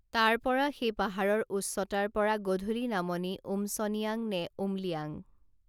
তাৰপৰা সেই পাহাৰৰ উচ্চতাৰপৰা গধূলি নামনি উমচনিয়াং নে উমলিয়াং